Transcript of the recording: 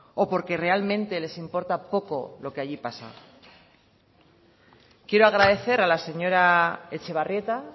o porque realmente les importa poco lo que allí pasa quiero agradecer a la señora etxebarrieta